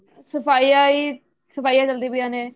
ਸਫਾਈਆਂ ਹੀ ਸਫਾਈਆਂ ਚੱਲਦੀਆਂ ਪਈਆਂ ਨੇ